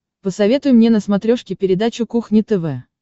посоветуй мне на смотрешке передачу кухня тв